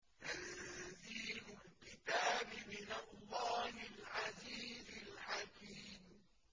تَنزِيلُ الْكِتَابِ مِنَ اللَّهِ الْعَزِيزِ الْحَكِيمِ